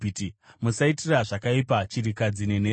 “Musaitira zvakaipa chirikadzi nenherera.